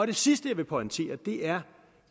det sidste jeg vil pointere er